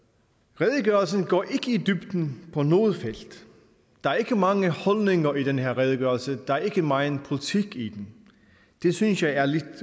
redegørelsen går ikke i dybden på noget felt der er ikke mange holdninger i den her redegørelse der er ikke meget politik i den det synes jeg er lidt